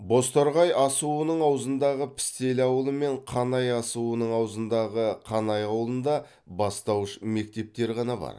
бозторғай асуының аузындағы пістелі ауылы мен қанай асуының аузындағы қанай ауылында бастауыш мектептер ғана бар